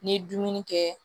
N'i ye dumuni kɛ